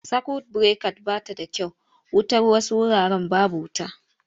Sakwut birekat ba ta da kyau wutar wasu wuraren babu wuta.